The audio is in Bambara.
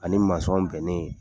Ani bɛnnen